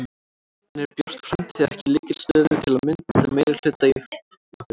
En er Björt framtíð ekki í lykilstöðu til að mynda meirihluta í Hafnarfirði?